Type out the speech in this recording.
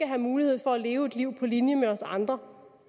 have mulighed for at leve et liv på linje med os andre